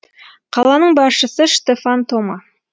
қаланың басшысы штефан тома